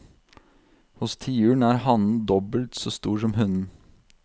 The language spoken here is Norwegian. Hos tiuren er hannen dobbelt så stor som hunnen.